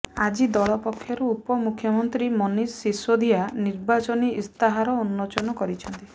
ଆଜି ଦଳ ପକ୍ଷରୁ ଉପ ମୁଖ୍ୟମନ୍ତ୍ରୀ ମନୀଷ ସିସୋଦିଆ ନିର୍ବାଚନୀ ଇସ୍ତାହାର ଉନ୍ମୋଚନ କରିଛନ୍ତି